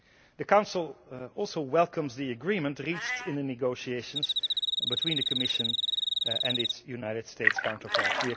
The Council also welcomes the agreement reached in the negotiations between the Commission and its United States counterparts.